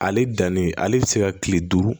Ale danni ale bɛ se ka kile duuru